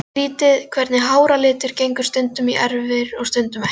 Skrýtið hvernig háralitur gengur stundum í erfðir og stundum ekki.